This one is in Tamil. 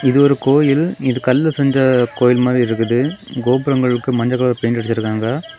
இது ஒரு கோயில். இது கல்லுல செஞ்ச கோயில் மாதிரி இருக்குது. கோபுரங்களுக்கு மஞ்ச கலர் பெயிண்ட் அடிச்சிருக்காங்க.